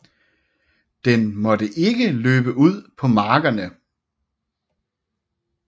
Den måtte ikke løbe ud på markerne